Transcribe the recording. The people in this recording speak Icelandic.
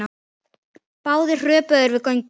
Báðir hröpuðu þeir við göngu.